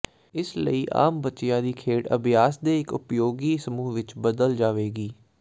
ਇਸ ਲਈ ਆਮ ਬੱਚਿਆਂ ਦੀ ਖੇਡ ਅਭਿਆਸ ਦੇ ਇੱਕ ਉਪਯੋਗੀ ਸਮੂਹ ਵਿੱਚ ਬਦਲ ਜਾਵੇਗੀ